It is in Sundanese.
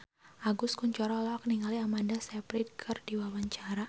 Agus Kuncoro olohok ningali Amanda Sayfried keur diwawancara